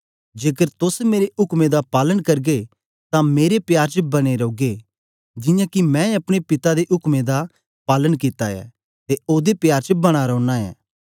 जेकर तोस मेरे उक्में दा पालन करगे तां मेरे प्यार च बने रौगे जियां के मैं अपने पिता दे उक्में पालन कित्ता ऐ ते ओदे प्यार च बना रौना ऐं